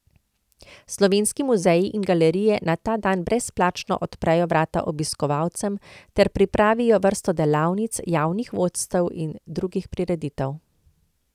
Slovenski muzeji in galerije na ta dan brezplačno odprejo vrata obiskovalcem ter pripravijo vrsto delavnic, javnih vodstev in drugih prireditev.